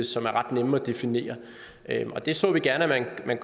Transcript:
som er ret nemme at definere og det så vi gerne